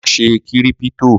Wá ṣe kírípítò.